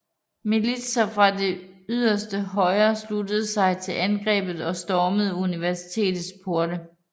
Militser fra det yderste højre sluttede sig til angrebet og stormede universitetets porte